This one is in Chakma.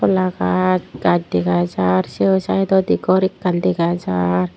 hola gaz gaz dega jar seo saidodi gor ekkan dega jar.